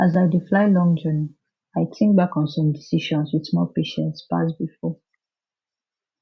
as i dey fly long journey i think back on some decisions with more patience pass before